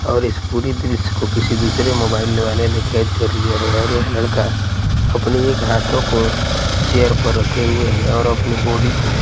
और इस पूरी दृश्य को किसी दूसरे मोबाइल वाले ने कैद कर लिया है और यह लड़का अपनी एक हाथों को चेयर पर रखे हुए हैं और अपनी बॉडी को--